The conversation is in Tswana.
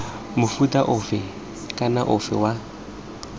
mofuta ofe kana ofe wa